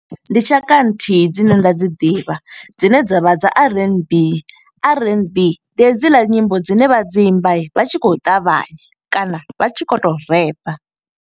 Ndi tshaka nthihi dzine nda dzi ḓivha, dzine dza vha dza R_N_B. R_N_B ndi hedzila nyimbo dzine vha dzi imba vha tshi khou ṱavhanya, kana vha tshi khou to repa.